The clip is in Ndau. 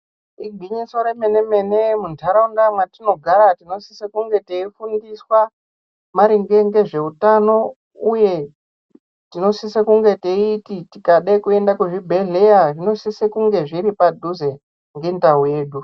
Igwinyiso remene-mene muntaraunda mwatinogara tinosise kunge teifundiswa maringe ngezveutano uye tinosise kunge teiti tikada kuenda kuzvibhedhleya zvinosise kunge zviri padhuze ngendau yedu.